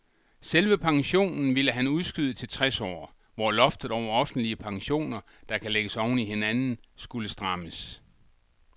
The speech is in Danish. Selve pensionen ville han udskyde til tres år, hvor loftet over offentlige pensioner, der kan lægges oven i hinanden, skulle strammes.